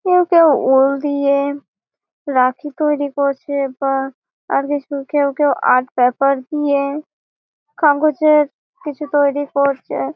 কেউ কেউ উল দিয়ে রাখি তৈরী করছে বা আর কিছু কেউ কেউ আর্ট পেপার দিয়ে কাগজের কিছু তৈরী করছে।